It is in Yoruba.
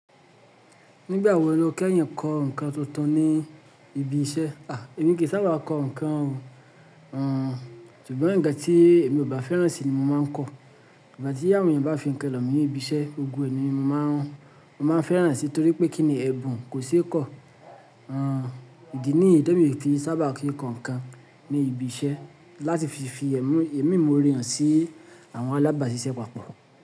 Nígbà wo ni o kẹ́yìn kọ ǹkan tuntun ní ibi iṣẹ́? À, èmi kì í sábà kọ ǹkan o. Àn, ṣùgbọ́n nkàn tí èmi ò bá fẹ́ràn sí i ni mo máa ń kọ. Ìgbà tí àwọn èèyàn bá fi ń kàn lọ̀ mí ní ibi iṣẹ́, ogun ènìyàn ni mo máa ń rán. Mo máa ń fẹ́ràn sí i nítorí pé kí ni ẹbùn kò ṣe é kọ̀. Àn, ìdí nìyí té mi o ki n sábà ṣe ǹkan kan ní ibi iṣẹ́ láti fi fi ẹ̀mí mi imóre hàn sí àwọn alábàásísẹ́ papọ̀